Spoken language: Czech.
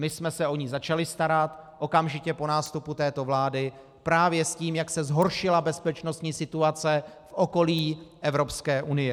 My jsme se o ni začali starat okamžitě po nástupu této vlády právě s tím, jak se zhoršila bezpečnostní situace v okolí Evropské unie.